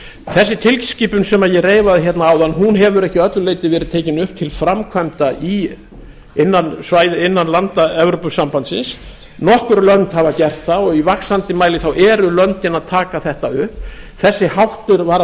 þessi tilskipun sem ég reifaði hérna áðan hefur ekki að öllu leyti verið tekin upp til framkvæmda innan landa evrópusambandsins nokkur lönd hafa gert það og í vaxandi mæli þá eru löndin að taka þetta upp þessi háttur var af